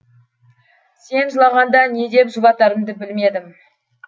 сен жылағанда не деп жұбатарымды білмедім